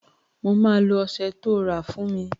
Mo máa lo ọsẹ tó rà fún mi